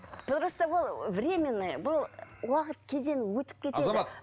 дұрысы ол временный бұл уақыт кезең өтіп кетеді